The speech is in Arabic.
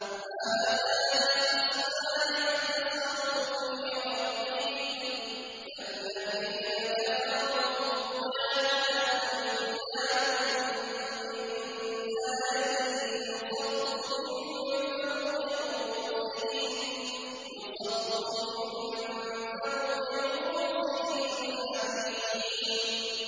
۞ هَٰذَانِ خَصْمَانِ اخْتَصَمُوا فِي رَبِّهِمْ ۖ فَالَّذِينَ كَفَرُوا قُطِّعَتْ لَهُمْ ثِيَابٌ مِّن نَّارٍ يُصَبُّ مِن فَوْقِ رُءُوسِهِمُ الْحَمِيمُ